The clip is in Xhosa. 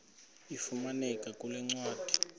ifumaneka kule ncwadi